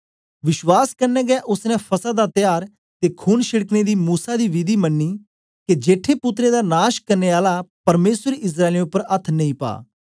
विश्वास कन्ने गै ओसने फसह दा त्यार ते खून छेड़कने दी मूसा दी विधि मन्नी के जेठे पुत्रें दा नाश करने आला परमेसर इस्राएलियें उपर अथ्थ नेई पा